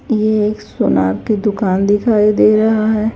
ये एक सोनार की दुकान दिखाई दे रहा है।